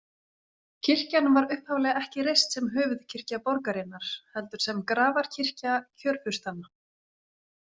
Kirkjan var upphaflega ekki reist sem höfuðkirkja borgarinnar, heldur sem grafarkirkja kjörfurstanna.